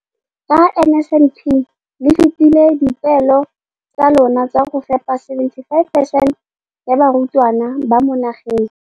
Ka NSNP le fetile dipeelo tsa lona tsa go fepa masome a supa le botlhano a diperesente ya barutwana ba mo nageng.